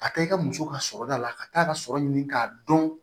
A taa i ka muso ka sɔrɔ da la ka taa a ka sɔrɔ ɲini k'a dɔn